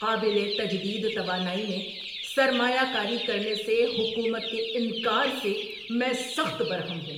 قابل تجدید توانائی میں سرمایہ کاری کرنے سے حکومت کے انکار سے میں سخت برہم ہوں۔